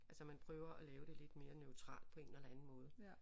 Altså man prøver at lave det lidt mere neutralt på en eller anden måde